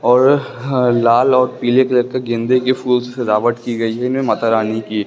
और हा लाल और पीले कलर का गेंदे के फूल से सजावट की गई है इनमें माता रानी की।